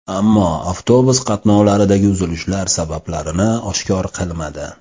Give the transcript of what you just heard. Ammo avtobus qatnovlaridagi uzilishlar sabablarini oshkor qilmadi.